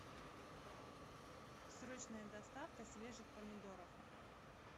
срочная доставка свежих помидоров